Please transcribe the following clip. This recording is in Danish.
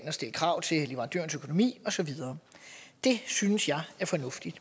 og stille krav til leverandørens økonomi og så videre det synes jeg er fornuftigt